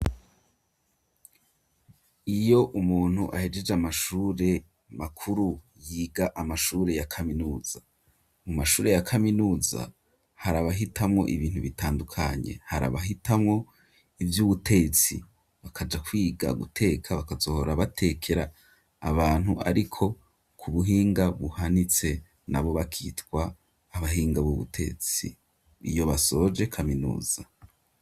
Iyo umuntu ahejeje amashure makuru yiga amashure ya kaminuza mu mashure ya kaminuza harabahitamwo ibintu bitandukanye harabahitamwo ivyo uwutetsi bakaja kwiga guteka bakazohora batekera abantu, ariko ku buhinga buhanitse na bo bakitwa abahinga b'ubutetsi iyo basoje kaminuza.